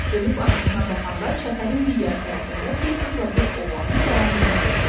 Dönüb arxasına baxanda çəpərin digər tərəfində bir qızla bir oğlanın dayandığını gördü.